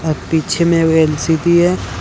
और पीछे में वे एम_सी_बी है।